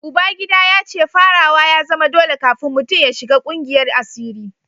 Uba gida ya ce farawa ya zama dole kafin mutum ya shiga kungiyar asiri